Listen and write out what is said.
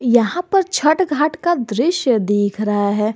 यहां पर छठ घाट का दृश्य दिख रहा है।